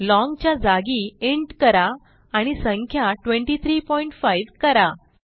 long च्या जागी int करा आणि संख्या 235 करा